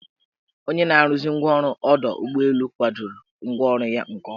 Onye na-arụzi ngwaọrụ ọdọụgbọelu kwadoro ngwaọrụ ya nke ọma.